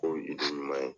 K'o ɲuman ye